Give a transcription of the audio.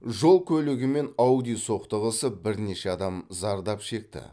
жол көлігі мен ауди соқтығысып бірнеше адам зардап шекті